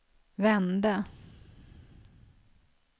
vände